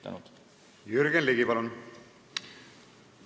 Jürgen Ligi, palun!